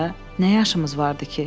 Nə yaşımız vardı ki?